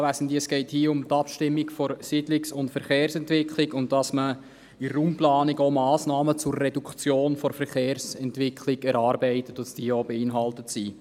Es geht hier um die Abstimmung der Siedlungs- und Verkehrsentwicklung, dass man in der Raumplanung auch Massnahmen zur Reduktion der Verkehrsentwicklung erarbeitet und dass diese auch enthalten sind.